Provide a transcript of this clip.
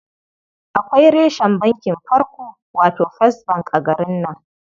Akwai reshen bankin farko, wato first bank a garin nan.